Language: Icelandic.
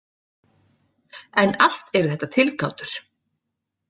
En allt eru þetta tilgátur.